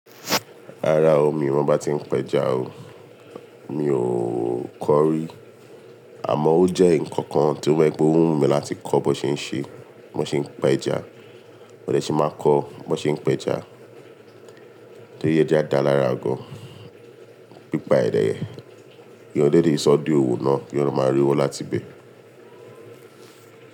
Rárá o, mi ò mọ bá ti ń pẹ́ja o. Mi ò kọ rí. Àmọ́ ó jẹ́ nǹkan kan tí o jẹ wipe óhùn mi láti kọ́ bó ṣe ń ṣe, bó ṣe ń pẹ́ja. Mo dẹ ṣí máa kọ́ bó ṣe ń pẹ́ja. Tó ri ẹja da lára gan, pípa èdè ẹ. Èèyàn dẹ le sọ́ di òwò náà kí èèyàn máa rowo láti bẹ̀.